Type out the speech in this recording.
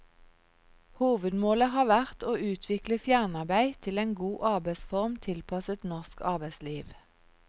Hovedmålet har vært å utvikle fjernarbeid til en god arbeidsform tilpasset norsk arbeidsliv.